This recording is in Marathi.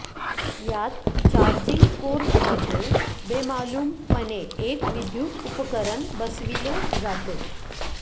यात चार्जिंग पोर्टमध्ये बेमालूमपणे एक विद्युत उपकरण बसविले जाते